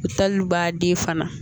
Taliw b'a den fana